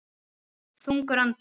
Þungur andar